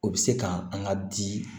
O bɛ se kan an ka di